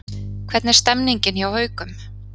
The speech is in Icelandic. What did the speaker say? Hvernig er stemningin hjá Haukum?